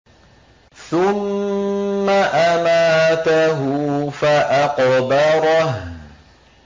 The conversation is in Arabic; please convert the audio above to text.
ثُمَّ أَمَاتَهُ فَأَقْبَرَهُ